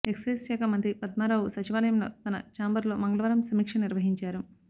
excise శాఖ మంత్రి పద్మారావు సచివాలయంలో తన ఛాంబరులో మంగళవారం సమీక్ష నిర్వహించారు